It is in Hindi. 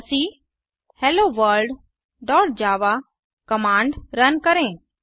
जावाक hello world dot Java command run करें